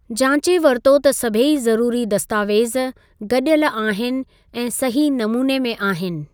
जांचे वरितो त सभेई ज़रुरी दस्तावेज़ गडि॒यलु आहिनि ऐं सही नमूने में आहिनि।